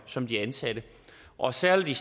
som de ansatte og særlig